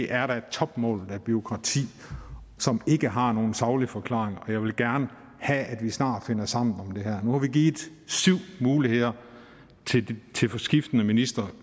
er da topmålet af bureaukrati som ikke har nogen saglig forklaring og jeg vil gerne have at vi snart finder sammen om det her nu har vi givet syv muligheder til skiftende ministre